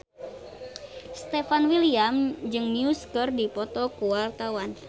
Stefan William jeung Muse keur dipoto ku wartawan